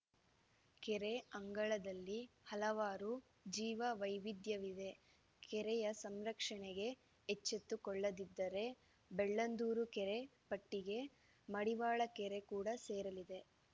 ಕೆರೆ ಅಂಗಳದಲ್ಲಿ ಹಲವಾರು ಜೀವ ವೈವಿಧ್ಯವಿದೆ ಕೆರೆಯ ಸಂರಕ್ಷಣೆಗೆ ಎಚ್ಚೆತ್ತುಕೊಳ್ಳದಿದ್ದರೆ ಬೆಳ್ಳಂದೂರು ಕೆರೆ ಪಟ್ಟಿಗೆ ಮಡಿವಾಳ ಕೆರೆ ಕೂಡ ಸೇರಲಿದೆ